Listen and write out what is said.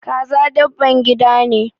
Kaza dabban gida ne.